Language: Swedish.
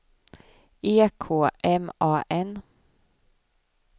E K M A N